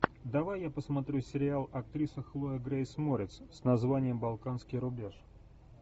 давай я посмотрю сериал актриса хлоя грейс морец с названием балканский рубеж